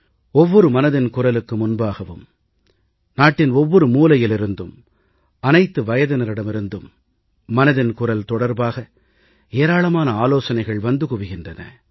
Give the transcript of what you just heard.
ஒவ்வொரு மனதின் குரல் நிகழ்ச்சிக்கு முன்பாகவும் நாட்டின் ஒவ்வொரு மூலையில் இருந்தும் அனைத்து வயதினரிடமிருந்தும் மனதின் குரல் தொடர்பாக ஏராளமான ஆலோசனைகள் வந்து குவிகின்றன